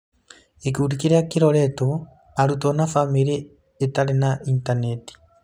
Gĩkundi kĩrĩa kĩroretwo: Arutwo na famĩlĩ itarĩ na intaneti.